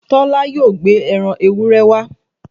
Tọ́lá yóò gbé ẹran ewúré wá